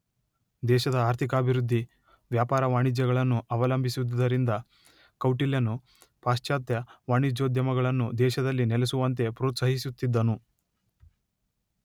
ದೇಶದ ಆರ್ಥಿಕಾಭಿವೃದ್ಧಿ ವ್ಯಾಪಾರ ವಾಣಿಜ್ಯಗಳನ್ನು ಅವಲಂಬಿಸಿದ್ದುದರಿಂದ ಕೌಟಿಲ್ಯನು ಪಾಶ್ಚಾತ್ಯ ವಾಣಿಜ್ಯೋದ್ಯಮಗಳನ್ನು ದೇಶದಲ್ಲಿ ನೆಲೆಸುವಂತೆ ಪ್ರೋತ್ಸಾಹಿಸುತ್ತಿದ್ದನು